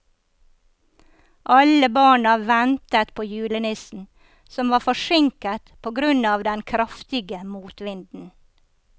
Alle barna ventet på julenissen, som var forsinket på grunn av den kraftige motvinden.